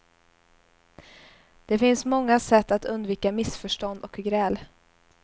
Det finns många sätt att undvika missförstånd och gräl.